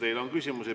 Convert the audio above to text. Teile on küsimusi.